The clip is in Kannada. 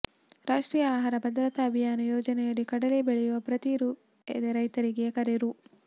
ರಾಷ್ಟ್ರೀಯ ಆಹಾರ ಭದ್ರತಾ ಅಭಿಯಾನ ಯೋಜನೆಯಡಿ ಕಡಲೆ ಬೆಳೆಯಲು ಪ್ರತಿ ರೈತರಿಗೆ ಎಕರೆಗೆ ರೂ